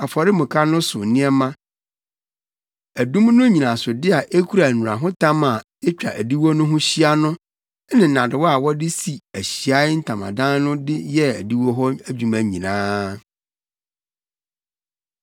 afɔremuka no so nneɛma, adum no nnyinasode a ekura nnurahotam a etwa adiwo no ho hyia no ne nnadewa a wɔde si Ahyiae Ntamadan no de yɛɛ adiwo hɔ adwuma nyinaa.